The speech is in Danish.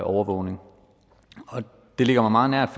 overvågning det ligger mig meget nært